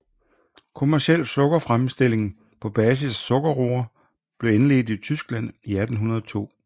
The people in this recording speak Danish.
Kommerciel sukkerfremstilling på basis af sukkerroer blev indledt i Tyskland i 1802